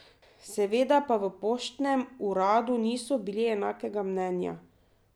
Seveda pa v poštnem uradu niso bili enakega mnenja.